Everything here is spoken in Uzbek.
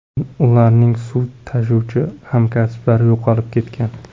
Ularning suv tashuvchi hamkasblari yo‘qolib ketgan.